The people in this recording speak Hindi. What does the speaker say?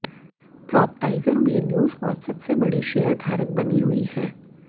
प्रॉपटाइगर में न्यूजकॉर्प सबसे बड़ी शेयरधारक बनी हुई है